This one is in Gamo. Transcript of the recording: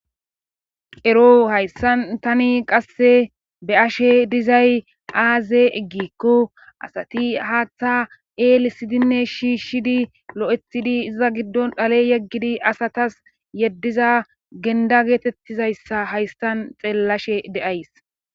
Ero hayssan tani qasse be'ashe dizay aaze gikko asati haaththa eelisidinne shishidi lo'etidi iza giddon xale yeggidi asatasi yeddiza genida geetettiza issa hayssan xeellashe de'ays.